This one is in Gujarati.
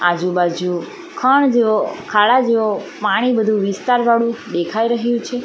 આજુ બાજુ ખાણ જેવો ખાડા જેવો પાણી બધું વિસ્તાર વાળું દેખાઈ રહ્યું છે.